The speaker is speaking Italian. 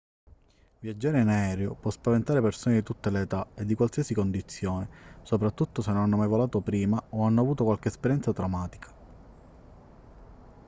viaggiare in aereo può spaventare persone di tutte le età e di qualsiasi condizione soprattutto se non hanno mai volato prima o hanno avuto qualche esperienza traumatica